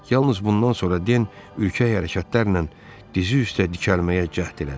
Yalnız bundan sonra Den ürkək hərəkətlərlə dizi üstə dikəlməyə cəhd elədi.